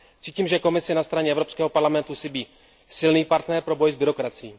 Cítím, že Komisi na straně Evropského parlamentu chybí silný partner pro boj s byrokracií.